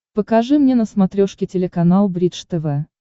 покажи мне на смотрешке телеканал бридж тв